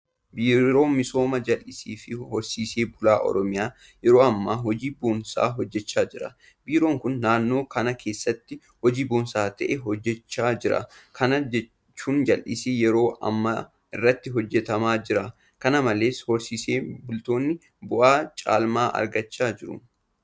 Biiroon misooma jallisiifi horsiisee bulaa Oromiyaa yeroo ammaa hojii boonsaa hojjechaa jira. Biiroon kun naannoo kana keessatti hojii boonsaa ta'e hojjechaa jira. Kana jechuun jallisiin yeroo ammaa irratti hojjetamaa jira. Kana malees horsiisee bultoonni bu'aa caalmaa argachaa jiru.